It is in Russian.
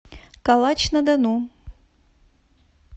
калач на дону